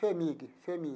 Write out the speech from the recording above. FHEMIG FHEMIG.